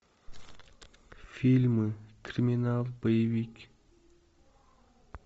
фильмы криминал боевики